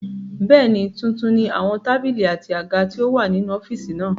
Bẹ́ẹ̀ni, tuntun ni àwọn tábìlì àti àga tí ó wà nínú ọ́fìsì náà